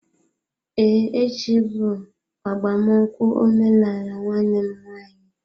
Ee, echi bụ agbamnụkwu omenaala nwanne m nwanyị.